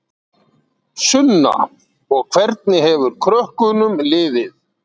Sunna: Og hvernig hefur krökkunum liðið?